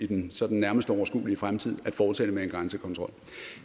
den sådan nærmeste overskuelige fremtid at fortsætte med en grænsekontrol